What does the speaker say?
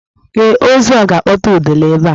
Ee, ozu a ga-akpọta udele ebe a.